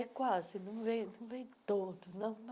É quase, não vem não vem todo não.